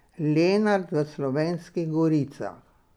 Lenart v Slovenskih goricah.